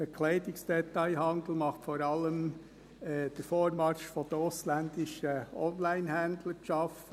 Dem Bekleidungsdetailhandel macht vor allem der Vormarsch der ausländischen Onlinehändler zu schaffen.